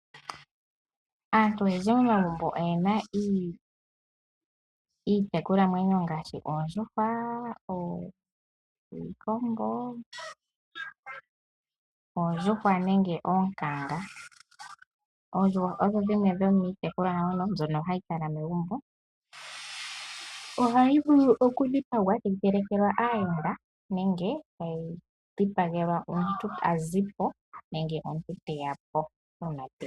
Aantu oyendji momagumbo oye na iitekulwanamwenyo ngaashi oondjuhwa, iikombo nenge oonkanga. Oondjuhwa odho dhimwe dhomiitekulwanamwenyo mbyono hayi kala megumbo. Ohayi vulu okudhipagwa tayi telekelwa aayenda nenge tayi dhipagelwa omuntu ta zi po nenge omuntu te ya po.